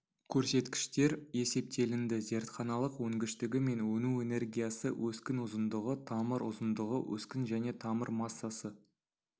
көрсеткіштер есептелінді зертханалық өнгіштігі мен өну энергиясы өскін ұзындығы тамыр ұзындығы өскін және тамыр массасы